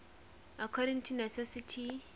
according to necessity